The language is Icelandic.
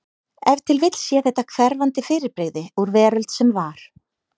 Ef til vill sé þetta hverfandi fyrirbrigði úr veröld sem var.